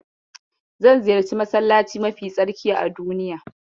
Zan ziyarci masallaci mafi tsarki a duniya.